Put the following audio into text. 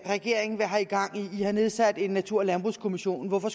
regeringen har gang i i har nedsat en natur og landbrugskommission hvorfor